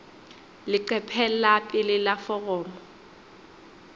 leqephe la pele la foromo